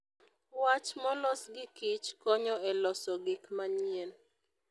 Wach molos gi Kich konyo e loso gik manyien.